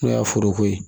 N'o y'a foroko ye